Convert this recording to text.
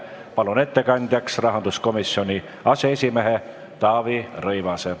Palun ettekandjaks rahanduskomisjoni aseesimehe Taavi Rõivase.